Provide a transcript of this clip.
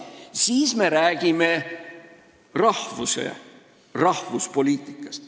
Sel juhul me räägime rahvuspoliitikast.